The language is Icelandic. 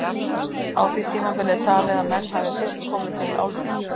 Á því tímabili er talið að menn hafi fyrst komið til álfunnar.